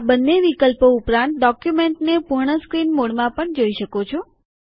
આ બંને વિકલ્પો ઉપરાંત ડોક્યુમેન્ટને પૂર્ણ સ્ક્રીન મોડમાં પણ જોઈ શકો છો